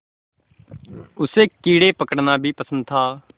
उसे कीड़े पकड़ना भी पसंद था